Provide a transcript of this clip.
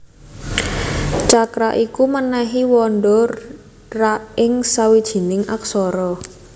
Cakra iku mènèhi wanda ra ing sawijining aksara